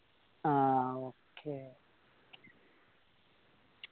ആ okay